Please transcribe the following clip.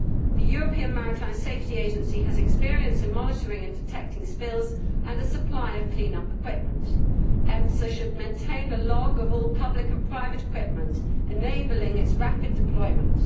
The European Maritime Safety Agency has experience in monitoring and detecting spills and in the supply of clean up equipment, so should maintain a log of all public and private equipment enabling its rapid deployment.